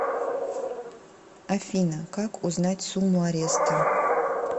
афина как узнать сумму ареста